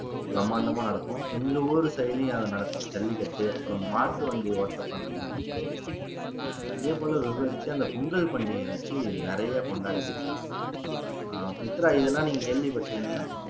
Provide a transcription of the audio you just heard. பிரம்மாண்டமா நடக்கும் எங்க ஊர் side லயும் அது நடக்கும் ஜல்லிக்கட்டு அப்புறம் மாட்டு வண்டி ஓட்டப் பந்தயம் அப்படின்னு சொல்லுவாங்க இதே போல விவரிச்சு அந்த பொங்கல் பண்டிகையை வச்சு நிறைய கொண்டாடிக்கிட்டு இருக்கோம் அஹ் மித்ரா இதெல்லாம் நீங்க கேள்விப்பட்டிருக்கீங்களா